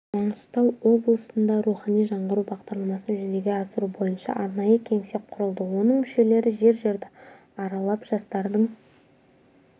маңғыстау облысында рухани жаңғыру бағдарламасын жүзеге асыру бойынша арнайы кеңсе құрылды оның мүшелері жер-жерді аралап жастардың